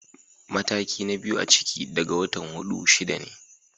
Mataki na biyu na ciki daga watan hudu-shida ne.